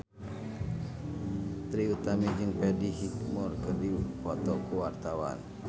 Trie Utami jeung Freddie Highmore keur dipoto ku wartawan